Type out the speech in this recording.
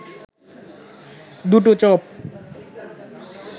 দুটো চপ